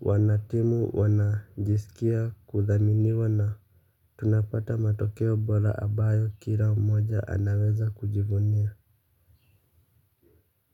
wanatimu wanajisikia kuthaminiwa na tunapata matokeo bora ambayo kila mmoja anaweza kujivunia.